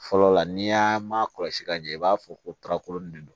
Fɔlɔ la n'i y'a ma kɔlɔsi ka ɲɛ i b'a fɔ ko tarakolonin de do